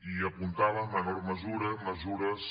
i apuntava en menor mesura mesures